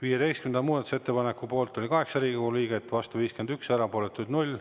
15. muudatusettepaneku poolt oli 8 Riigikogu liiget, vastu 51, erapooletuid 0.